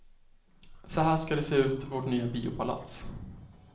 Så här ska det se ut, vårt nya biopalats.